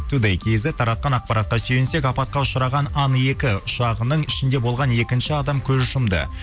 тудэй кизет таратқан ақпаратқа сүйінсек апатқа ұшыраған ан екі ұшағының ішінде болған екінші адам көз жұмды